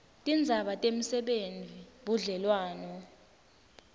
tindzaba temisebenti budlelwano